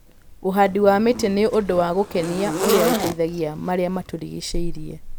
Ũhandi wa mĩtĩ nĩ ũndũ wa gũkenia ũrĩa ũteithagia marĩa matũrigicĩirie.